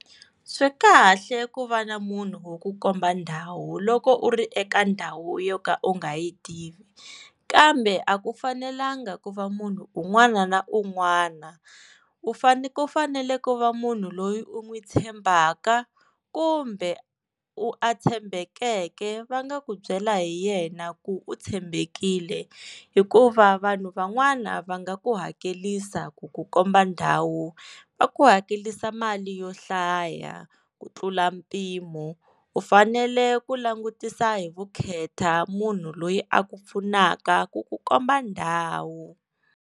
Swi kahle ku va na munhu wo ku komba ndhawu loko u ri eka ndhawu yo ka u nga yi tivi kambe a ku fanelanga ku va munhu un'wana na un'wana u faneke ku fanele va munhu loyi u n'wi tshembaka kumbe u a tshembekeke va nga ku byela hi yena ku u tshembekile hikuva vanhu van'wana va nga ku hakelisa ku ku komba ndhawu va ku hakelisa mali yo hlaya ku tlula mpimo u fanele ku langutisa hi vukheta munhu loyi a ku pfunaka ku ku komba ndhawu.